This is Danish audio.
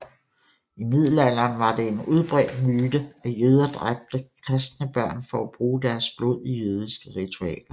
I Middelalderen var det en udbredt myte at jøder dræbte kristne børn for at bruge deres blod i jødiske ritualer